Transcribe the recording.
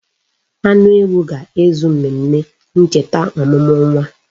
Anu ewu ga-ezu mmemme ncheta omumu nwa.